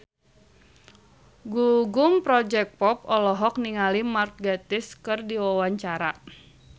Gugum Project Pop olohok ningali Mark Gatiss keur diwawancara